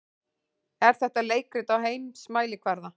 Er þetta leikrit á heimsmælikvarða?